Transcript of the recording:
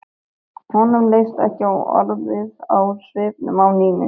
Honum leist ekki orðið á svipinn á Nínu.